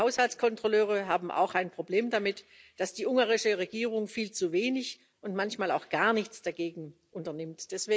Die Haushaltskontrolleure haben auch ein Problem damit, dass die ungarische Regierung viel zu wenig und manchmal auch gar nichts dagegen unternimmt.